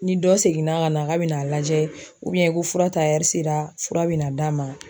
Ni dɔ seginna ka na ka bɛn n'a lajɛ ko fura ta sera fura bɛ na d'a ma.